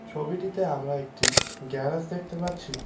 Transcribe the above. ছবিটিতে আমরা একটি গ্যারাজ দেখতে পাচ্ছি।